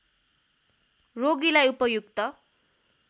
रोगीलाई उपयुक्त